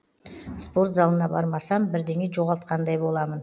спорт залына бармасам бірдеңе жоғалтқандай боламын